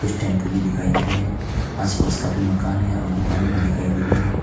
कुछ टेंपो दिखाई दे रहे हैं आसपास काफी मकान है और दुकाने भी दिखाई दे रही है।